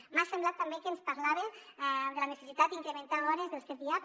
m’ha semblat també que ens parlava de la necessitat d’incrementar hores dels cdiap